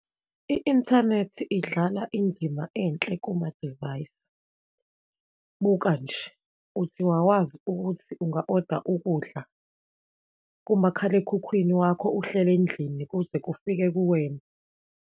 I-inthanethi idlala indima enhle kumamadivayisi. Buka nje, uthi wawazi ukuthi unga oda ukudla kumakhalekhukhwini wakho, uhleli endlini, kuze kufike kuwena.